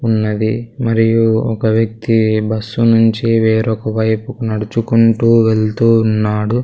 ఉన్నది మరియు ఒక వ్యక్తి బస్సు నుంచి వేరొక వైపుకు నడుచుకుంటూ వెళ్తూ ఉన్నాడు.